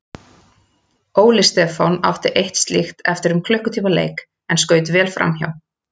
Óli Stefán átti eitt slíkt eftir um klukkutíma leik en skaut vel framhjá.